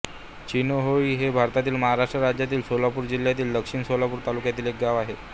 चिनोहोळी हे भारतातील महाराष्ट्र राज्यातील सोलापूर जिल्ह्यातील दक्षिण सोलापूर तालुक्यातील एक गाव आहे